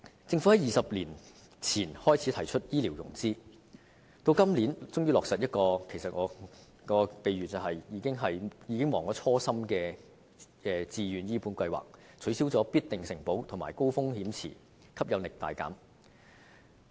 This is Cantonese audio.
政府在20年前開始提出醫療融資，今年終於落實這項我將之比喻為忘卻初心的自願醫保計劃，取消"必定承保"及"高風險池"，令吸引力大減。